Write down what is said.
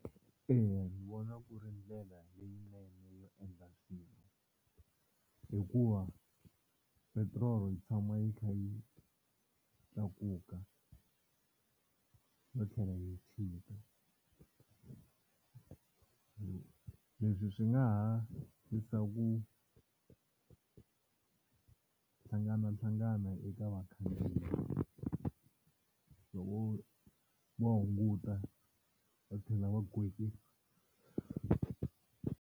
Eya ni vona ku ri ndlela leyinene yo endla swilo, hikuva petirolo yi tshama yi kha yi tlakuka no tlhela yi chika, leswi swi nga ha yisa ku hlanganahlangana eka vakhandziyi loko wo hunguta va tlhela va gonyisa.